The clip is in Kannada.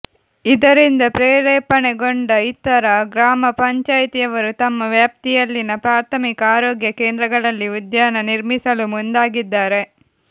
ಇದರಿಂದ ಪ್ರೇರೇಪಣೆಗೊಂಡ ಇತರ ಗ್ರಾಮ ಪಂಚಾಯಿತಿಯವರು ತಮ್ಮ ವ್ಯಾಪ್ತಿಯಲ್ಲಿನ ಪ್ರಾಥಮಿಕ ಆರೋಗ್ಯ ಕೇಂದ್ರಗಳಲ್ಲಿ ಉದ್ಯಾನ ನಿರ್ಮಿಸಲು ಮುಂದಾಗಿದ್ದಾರೆ